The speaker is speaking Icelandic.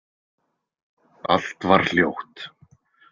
Allt var hljótt.